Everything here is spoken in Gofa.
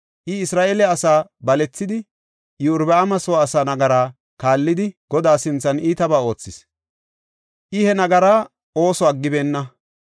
I, Isra7eele asaa balethida Iyorbaama soo asaa nagara kaallidi, Godaa sinthan iitaba oothis; I he nagaraa ooso aggibeenna.